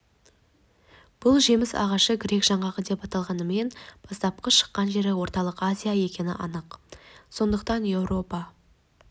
бұл жеміс ағашы грек жаңғағы деп аталғанымен бастапқы шыққан жері орталық азия екені анық сондықтан европа